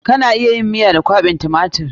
Kana iya yin stew da kwaɓin tumatir.